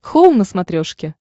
хоум на смотрешке